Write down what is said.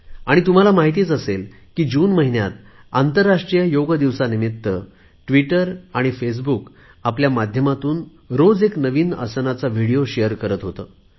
आणि तुम्हाला माहित असेलच की जून महिन्यात आंतरराष्ट्रीय योग दिवसानिमित्त दररोज ट्विटर आणि फेसबुक आपल्या माध्यमातून एक नवीन आसनाचा विडिओ शेअर करत होते